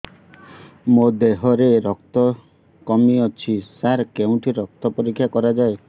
ମୋ ଦିହରେ ରକ୍ତ କମି ଅଛି ସାର କେଉଁଠି ରକ୍ତ ପରୀକ୍ଷା କରାଯାଏ